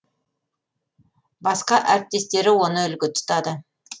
басқа әріптестері оны үлгі тұтады